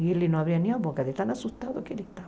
E ele não abria nem a boca, de tão assustado que ele estava.